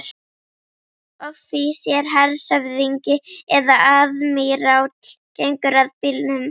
Offísér, hershöfðingi eða aðmíráll gengur að bílnum.